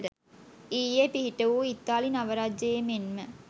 ඊයේපිහිටවූ ඉතාලි නව රජයේ මෙන්ම